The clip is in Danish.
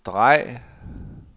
drej